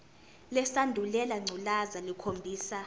lesandulela ngculazi lukhombisa